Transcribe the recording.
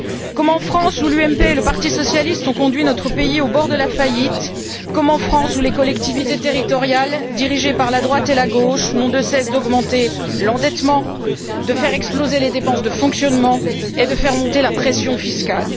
Comme en France où l'UMP et le parti socialiste ont conduit notre pays au bord de la faillite, où les collectivités territoriales dirigées par la droite et la gauche n'ont de cesse d'augmenter l'endettement, de faire exploser les dépenses de fonctionnement et de faire monter la pression fiscale.